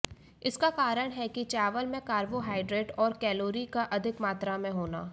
इसका कारण है कि चावल में कार्बोहाइड्रेट और कैलोरी का अधिक मात्रा में होना है